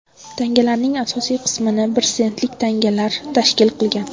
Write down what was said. Tangalarning asosiy qismini bir sentlik tangalar tashkil qilgan.